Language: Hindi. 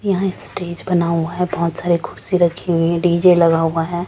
यहां स्टेज बना हुआ है बहोत सारे कुर्सी रखी हुई डी_जे लगा हुआ है।